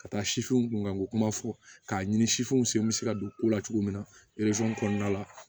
Ka taa sifinw kunkanko kuma fɔ k'a ɲini sifinw sen bɛ se ka don ko la cogo min na kɔnɔna la